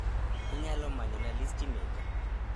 Inyalo manyona listi Meka